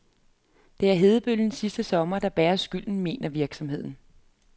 Det er hedebølgen sidste sommer, der bærer skylden, mener virksomheden.